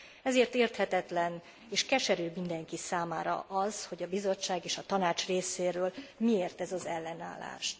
Ezért érthetetlen és keserű mindenki számára az, hogy a Bizottság és a Tanács részéről miért ez az ellenállás.